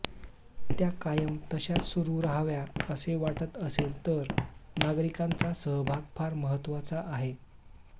त्या कायम तशाच सुरु राहाव्या असे वाटत असेल तर नागरिकांचा सहभाग फार महत्त्वाचा आहे